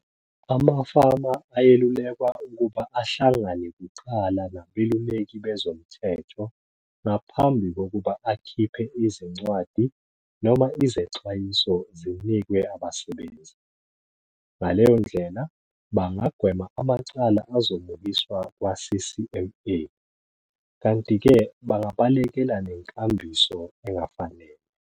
Amafama ayelulekwa ukuba ahlangane kuqala nabeluleki bezomthetho ngaphambi kokuba akhiphee izincwadi noma izexwayiso zinikwe abasebenzi. Ngaleyo ndlela bangagwema amacala azomukiswa kwaCCMA, kanti-ke bangabalekela nenkambiso engafanele.